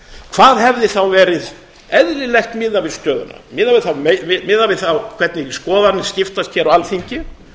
hvað hefði þá verið eðlilegt miðað við stöðuna miðað við þá hvernig skoðanir skiptast hér á alþingi